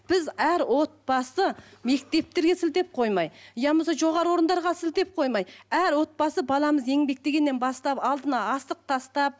біз әр отбасы мектептерге сілтеп қоймай я болмаса жоғары орындарға сілтеп қоймай әр отбасы баламыз еңбектегеннен бастап алдына асық тастап